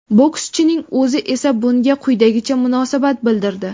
Bokschining o‘zi esa bunga quyidagicha munosabat bildirdi .